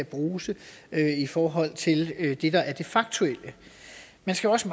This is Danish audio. bruse i forhold til det der er det faktuelle man skal også